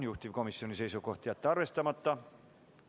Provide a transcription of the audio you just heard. Juhtivkomisjoni seisukoht on jätta see arvestamata.